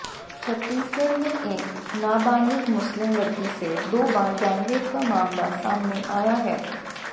छत्तीसगढ़ में एक नाबालिग मुस्लिम लड़की से दो बार गैंगरेप का मामला सामने आया है